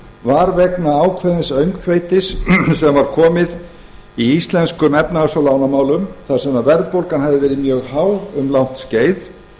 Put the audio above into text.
var vegna ákveðins öngþveitis sem var komið í íslenskum efnahags og lánamálum þar sem verðbólgan hafði verið mjög há um langt skeið